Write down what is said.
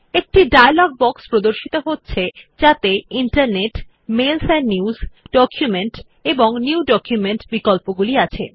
একটি dialogue box প্রর্দশিত হচ্ছে যাতে internetমেইলস এন্ড newsডকুমেন্ট এবং নিউ ডকুমেন্ট বিকল্পগুলি আছে